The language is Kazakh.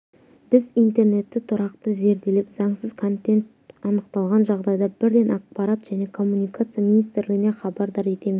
біз интернетті тұрақты зерделеп заңсыз контент анықталған жағдайда бірден ақпарат және коммуникация министрлігіне хабардар етеміз